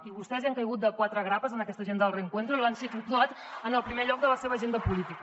i vostès hi han caigut de quatre grapes en aquesta agenda del reencuentro i l’han situat en el primer lloc de la seva agenda política